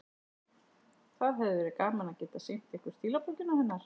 Það hefði verið gaman að geta sýnt ykkur stílabókina hennar.